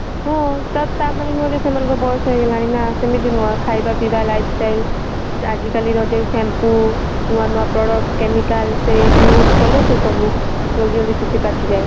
ହଁ ତା ମାନେ ନୁହଁ ଯେ ସେମାନଙ୍କ ବୟସ ହେଇଗଲାଣି ନା ସେମିତି ନୁହଁ ଖାଇବା ପିଇବା life style ଆଜି କାଲି ର ଯଉ shampoo ନୂଆ ନୂଆ products chemical ସେ use କଲେ ସେ ସବୁ ଜଲଦି ଜଲଦି ଚୁଟି ପାଚିଯାଏ